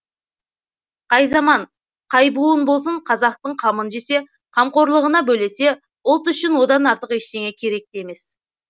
қай заман қай буын болсын қазақтың қамын жесе қамқорлығына бөлесе ұлт үшін одан артық ештеңе керек те емес